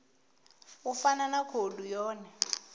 u fana na khoudu yone